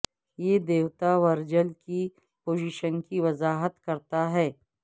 یہ دیوتا ورجل کی پوزیشن کی وضاحت کرتا ہے